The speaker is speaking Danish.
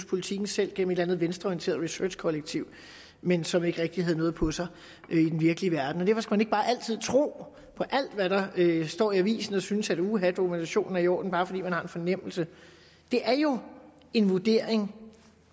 politiken selv gennem et eller andet venstreorienteret researchkollektiv men som ikke rigtig havde noget på sig i den virkelige verden derfor skal man ikke bare altid tro på alt hvad der står i avisen og synes at uha dokumentationen er i orden bare fordi man har en fornemmelse det er jo en vurdering